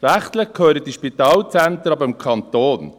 Rechtlich gehören diese Spitalzentren aber dem Kanton.